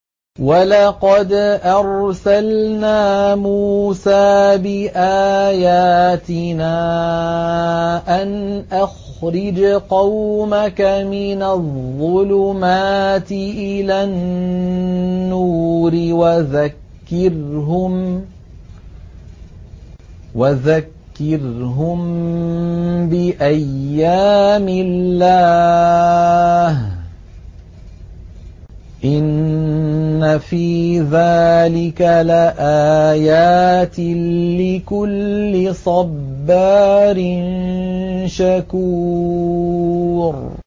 وَلَقَدْ أَرْسَلْنَا مُوسَىٰ بِآيَاتِنَا أَنْ أَخْرِجْ قَوْمَكَ مِنَ الظُّلُمَاتِ إِلَى النُّورِ وَذَكِّرْهُم بِأَيَّامِ اللَّهِ ۚ إِنَّ فِي ذَٰلِكَ لَآيَاتٍ لِّكُلِّ صَبَّارٍ شَكُورٍ